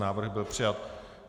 Návrh byl přijat.